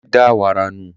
Délé da wàrà nù